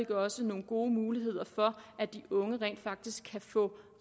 også nogle gode muligheder for at de unge rent faktisk kan få